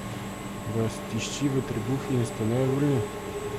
Vas tišči v trebuhu in ste nejevoljni?